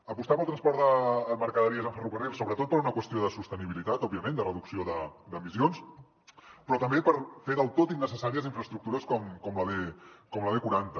apostar pel transport de mercaderies en ferrocarril sobretot per una qüestió de sostenibilitat òbviament de reducció d’emissions però també per fer del tot innecessàries infraestructures com la b quaranta